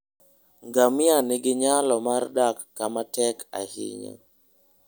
Ngamia nigi nyalo mar dak kama tek ahinya.